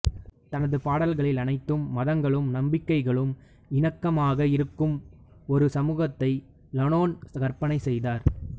தனது பாடல்களில் அனைத்து மதங்களும் நம்பிக்கைகளும் இணக்கமாக இருக்கும் ஒரு சமூகத்தை லாலோன் கற்பனை செய்தார்